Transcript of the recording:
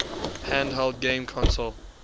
handheld game console